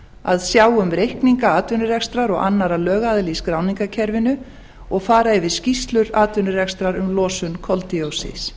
að sjá um reikninga atvinnurekstrar og annarra lögaðila í skráningarkerfinu og fara yfir skýrslur atvinnurekstrar um losun koldíoxíðs